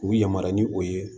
K'u yamaruya ni o ye